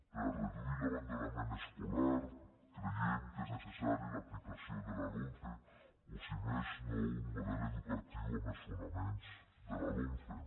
per reduir l’abandonament escolar creiem que és necessària l’aplicació de la lomce o si més no un model educatiu amb els fonaments de la lomce